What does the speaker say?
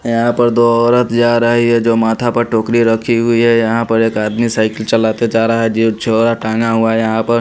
यहां पर दो औरत जा रही है जो माथा पर टोकरी रखी हुई है यहां पर एक आदमी साइकिल चलाते जा रहा है जी झोरा टांगा हुआ है यहां पर--